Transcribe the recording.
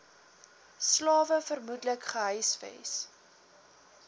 slawe vermoedelik gehuisves